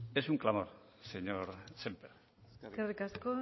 es un clamor señor semper eskerrik asko